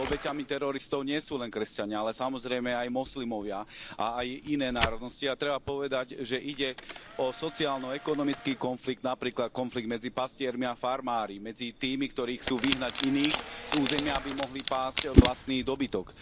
Ale obeťami teroristov nie sú len kresťania, ale samozrejme aj moslimovia a aj iné národnosti, a treba povedať, že ide o sociálno ekonomický konflikt, napríklad konflikt medzi pastiermi a farmármi medzi tými, ktorí chcú vyhnať iných z územia, aby mohli pásť vlastný dobytok.